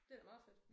Det da meget fedt